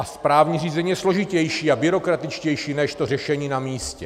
A správní řízení je složitější a byrokratičtější než to řešení na místě.